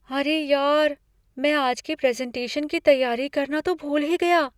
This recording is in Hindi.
अरे यार! मैं आज के प्रेज़ेंटेशन की तैयारी करना तो भूल ही गया!